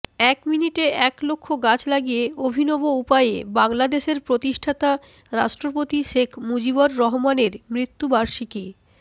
এক মিনিটে এক লক্ষ গাছ লাগিয়ে অভিনব উপায়ে বাংলাদেশের প্রতিষ্ঠাতা রাষ্ট্রপতি শেষ মুজিবর রহমানের মৃত্যুবার্ষিকী